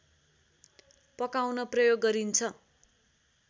पकाउन प्रयोग गरिन्छ